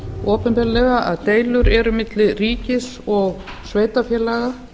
opinberlega að deilur eru milli ríkis og sveitarfélaga